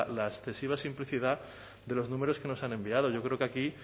la excesiva simplicidad de los números que nos han enviado yo creo que aquí